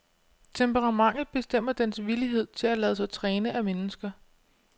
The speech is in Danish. Temperamentet bestemmer dens villighed til at lade sig træne af mennesker.